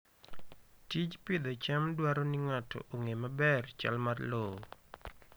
Tij pidho cham dwaro ni ng'ato ong'e maber chal mar lowo.